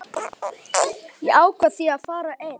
Ég ákvað því að fara einn.